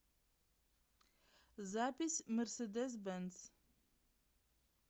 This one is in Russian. запись мерседес бенц